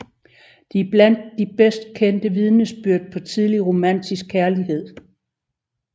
De er blandt de bedst kendte vidnesbyrd på tidlig romantisk kærlighed